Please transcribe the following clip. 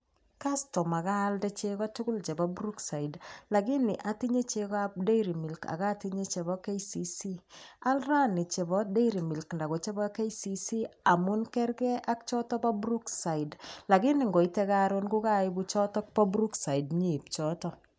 Kastoma, kaalde chego tugul chebo Brookside lakini atinye chegoab Dairy Milk ak atinye chebo KCC. Al rainini chebo Dairy Milk anan ko chebo KCC amun kerge ak choton bo Brookside. Lakini ngoite karon kokaibu choto bo Brookside inyeip choto.